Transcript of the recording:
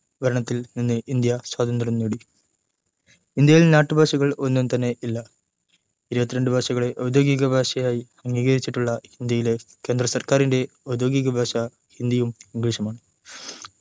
ഭരണത്തിൽ നിന്ന് ഇന്ത്യ സ്വാതന്ത്ര്യം നേടി ഇന്ത്യയിൽ നാട്ടുഭാഷകൾ ഒന്നും തന്നെ ഇല്ല ഇരുവതിരണ്ടു ഭാഷകളെ ഔദ്യോഗിക ഭാഷയായി അംഗീകരിച്ചിട്ടുള്ള ഇന്ത്യയിലെ കേന്ദ്ര സർക്കാറിൻ്റെ ഔദ്യോഗികഭാഷ ഹിന്ദിയും ഇംഗ്ലീഷുമാണ്